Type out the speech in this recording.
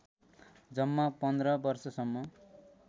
जम्मा १५ वर्षसम्म